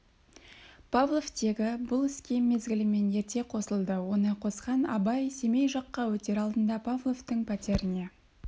павлов тегі бұл іске мезгілімен ерте қосылды оны қосқан абай семей жаққа өтер алдында павловтың пәтеріне